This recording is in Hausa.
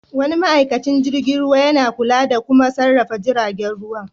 Wani ma'aikacin jirgin ruwa yana kula da kuma sarrafa jirgin ruwa.